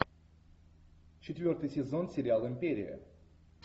четвертый сезон сериал империя